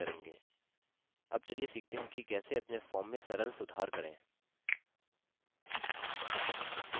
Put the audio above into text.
अब चलिए सीखते हैं कि कैसे अपने form में सरल सुधार करें